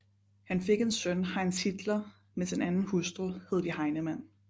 Han fik en søn Heinz Hitler med sin anden hustru Hedwig Heinemann